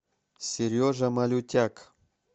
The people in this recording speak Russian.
сережа малютяк